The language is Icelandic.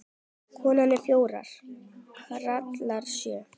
Konur eru fjórar, karlar sjö.